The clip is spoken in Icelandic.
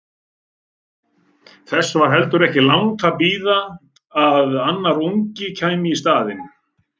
Þess var heldur ekki langt að bíða að annar ungi kæmi í staðinn.